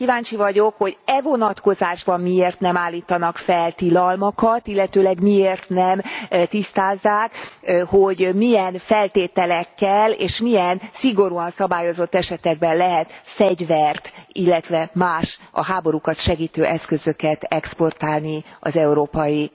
Kíváncsi vagyok, hogy e vonatkozásban miért nem állítanak fel tilalmakat, illetőleg miért nem tisztázzák, hogy milyen feltételekkel és milyen szigorúan szabályozott esetekben lehet fegyvert, illetve más, a háborúkat segítő eszközöket exportálni az Európai